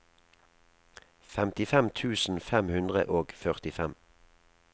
femtifem tusen fem hundre og førtifem